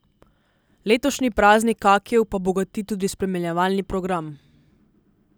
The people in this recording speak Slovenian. Letošnji Praznik kakijev pa bogati tudi spremljevalni program.